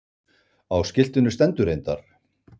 Á skiltinu stendur reyndar.